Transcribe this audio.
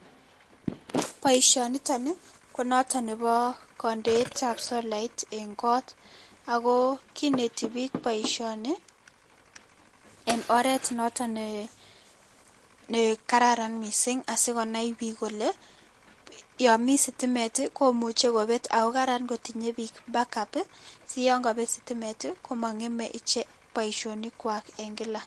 Boishoniton konoton neboo kondeetab solait en koot akoo kinetii biik boishoni en oreet noton nekararan mising asikonai biik kolee yoon mii sitimet komuche kobet akokaran kotinyee biik back up siyoon kobet sitimet komongeme boishonikwak en kila.